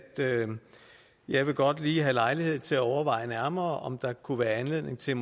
jeg godt lige vil have lejlighed til at overveje nærmere om der måske kunne være anledning til